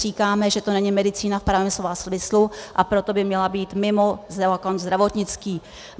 Říkáme, že to není medicína v pravém slova smyslu, a proto by měla být mimo zákon zdravotnický.